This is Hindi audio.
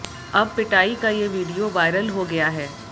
अब पिटाई का ये वीडियो वायरल हो गया है